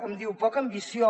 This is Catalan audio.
em diu poca ambició